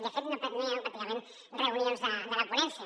de fet no hi ha hagut pràcticament reunions de la ponència